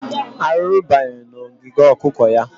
Arụrụ banyere n'ogige okụkọ ya.